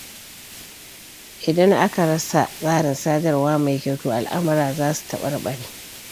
Idan aka rasa tsarin sadarwa mai kyau, to al'amura za su taɓarɓare.